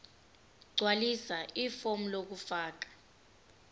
gqwalisa ifomu lokufaka